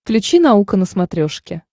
включи наука на смотрешке